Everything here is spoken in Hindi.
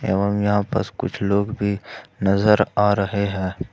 एवं यहां बस कुछ लोग भी नजर आ रहे हैं।